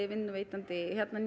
vinnuveitandinn hérna